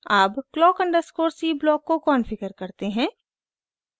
अब clock_c block को configure करते हैं